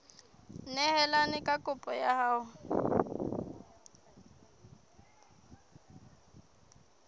neelane ka kopo ya hao